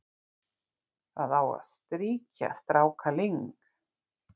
það á að strýkja strákaling